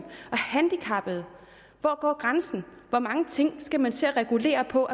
og handicappede hvor går grænsen hvor mange ting skal man til at regulere på